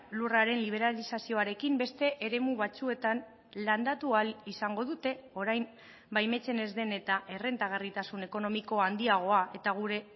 lurraren liberalizazioarekin beste eremu batzuetan landatu ahal izango dute orain baimentzen ez den eta errentagarritasun ekonomiko handiagoa eta gure